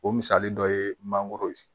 O misali dɔ ye mangoro ye